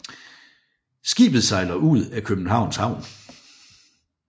Skibet sejler ud af Københavns Havn